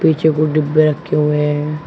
पीछे बहुत डिब्बे रखे हुए हैं।